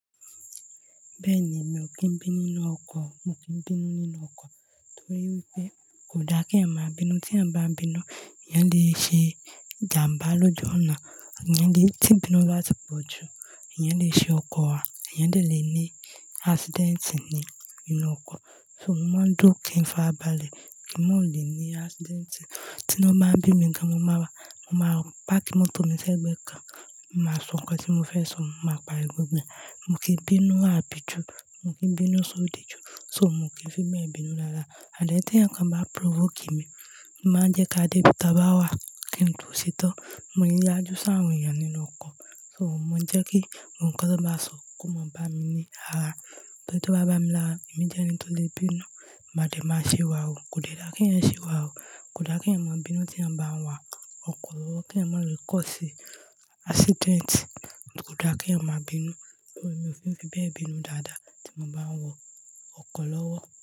Bẹ́ẹ̀ni, mi ò kí ń bínú nínú ọkọ̀, mo kì ń bínú nínú ọkọ̀ torí wípé kò dá kí eyan má bínú, tí eyan bá n bínú, ẹ̀yàn le ṣe ìjàmbá lójú ọ̀nà, ẹ̀yàn le-- tí bínú bá ti pọ̀ jù, ẹ̀yàn le ṣe ọkọ̀ wa, ẹ̀yàn dè lè ní accident ni nínú ọkọ̀. So mo mọ ń duro kin fi arábalẹ̀ kí n mò lè ní accident. Tí inu bá bí mi gan, mo máa páàkì mọ́tò mi sẹ́gbẹ́ kan, mo màá sọ nǹkan tí mo fẹ́ sọ, màá pari gbogbo e, mo kì ń bínú ábí ju, mo kì ń bínú sodi ju, so mò kí ń fi bẹ bínú rara and then ti èèyàn kan bá provoke mi, mo màá jẹ́ ká dé ibi tí a bá wà kí n tò se tán. Mo ní yaju si áwọn èèyàn nínú ọkọ̀, so mò ń jẹ́ kí gbogbo nkan tó bá sọ kó má bá mi ní ara. Ọjọ to bá bá mi lára, èmi jẹ́ ẹni tó lè bínú, màá dee máa siwawu, kò dá kí èèyàn siwawu, kò dá kí èèyàn maa bínú tí èèyàn n ba wa ọkọ̀ lọ́wọ́, kí èèyàn ma lọ cause accident, kò dá kí èèyàn maa bínú. So mi ò fi bẹ bínú dáadáa tí mò bá ń wọ ọkọ̀ lọ́wọ́.